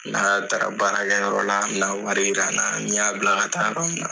N'a taara baarakɛyɔrɔ la, a bina wari yira n na, n y'a bila ka taa yɔrɔ min na.